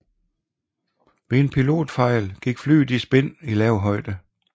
Ved en pilotfejl gik flyet i spin i lav højde